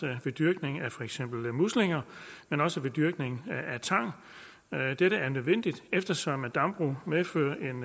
ved dyrkning af for eksempel muslinger men også ved dyrkning af tang dette er nødvendigt eftersom dambrug medfører en